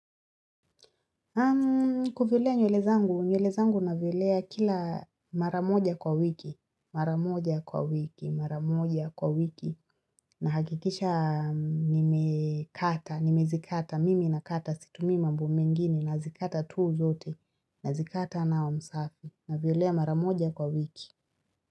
Kuvilea nywele zangu, nywele zangu navilea kila maramoja kwa wiki, maramoja kwa wiki, maramoja kwa wiki. Nahakikisha nimekata, nimezikata, mimi nakata situmii mambo mengine nazikata tu zote nazikata nawa msafi. Navilea mara moja kwa wiki.